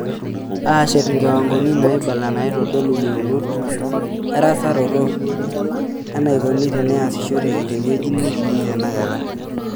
Aashet nkiwangoni naaibala naitodolu yeunot, erasaroto, eneikoni teneasishoreki tewueji netikii teinakata.